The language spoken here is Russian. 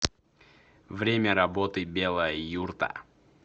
время работы белая юрта